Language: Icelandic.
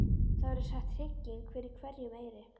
Það verður sett trygging fyrir hverjum eyri.